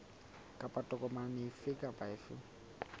kapa tokomane efe kapa efe